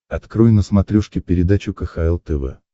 открой на смотрешке передачу кхл тв